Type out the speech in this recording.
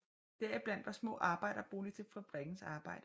Deriblandt var små arbejderboliger til fabrikkens arbejdere